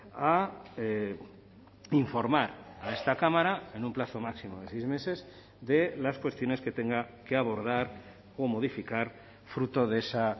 a informar a esta cámara en un plazo máximo de seis meses de las cuestiones que tenga que abordar o modificar fruto de esa